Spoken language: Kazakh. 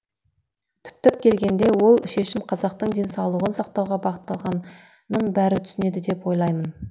түптеп келгенде ол шешім қазақтың денсаулығын сақтауға бағытталғанын бәрі түсінеді деп ойлаймын